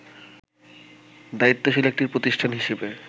দায়িত্বশীল একটি প্রতিষ্ঠান হিসেবে